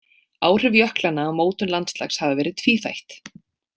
Áhrif jöklanna á mótun landslags hafa verið tvíþætt.